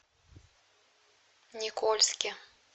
никольске